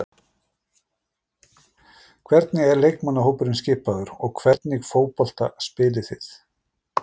Hvernig er leikmannahópurinn skipaður og hvernig fótbolta spilið þið?